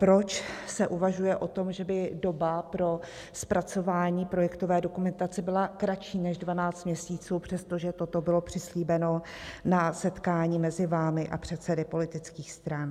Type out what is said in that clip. Proč se uvažuje o tom, že by doba pro zpracování projektové dokumentace byla kratší než 12 měsíců, přestože toto bylo přislíbeno na setkání mezi vámi a předsedy politických stran?